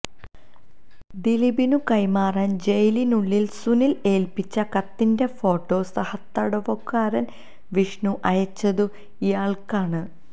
ദിലീപിനു കൈമാറാൻ ജയിലിനുള്ളിൽ സുനിൽ ഏൽപിച്ച കത്തിന്റെ ഫോട്ടോ സഹതടവുകാരൻ വിഷ്ണു അയച്ചതും ഇയാൾക്കാണ്